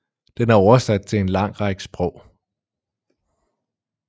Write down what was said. Den er oversat til en lang række sprog